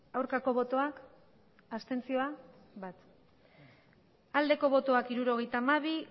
aurkako botoak abstentzioa hirurogeita hamabi